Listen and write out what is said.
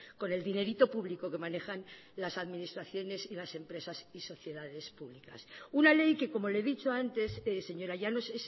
con el dinerito público que manejan las administraciones y las empresas y sociedades públicas una ley que como le he dicho antes señora llanos